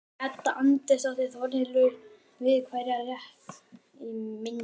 Edda Andrésdóttir: Þórhildur, við hverja er rætt í myndinni?